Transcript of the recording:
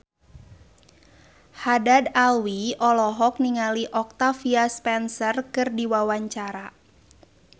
Haddad Alwi olohok ningali Octavia Spencer keur diwawancara